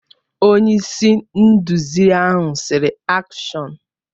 Onye-isi-nduzi ahụ sịrị, AKSHỌN!